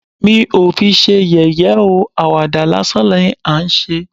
Mi ò fi ṣe yẹ̀yẹ́ ó, àwàdà lásán ni à ń ṣe